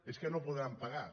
és que no ho podran pagar